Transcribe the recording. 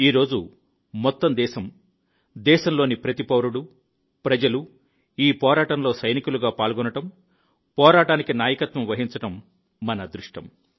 ఈ రోజు మొత్తం దేశం దేశంలోని ప్రతి పౌరుడు ప్రజలు ఈ పోరాటంలో సైనికులుగా పాల్గొనడం పోరాటానికి నాయకత్వం వహించడం మన అదృష్టం